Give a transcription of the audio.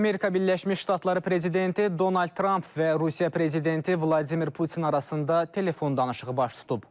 Amerika Birləşmiş Ştatları prezidenti Donald Tramp və Rusiya prezidenti Vladimir Putin arasında telefon danışığı baş tutub.